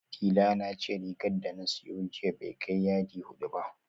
Dila na ce rigar da na siyo jiya bai kai yadi hudu ba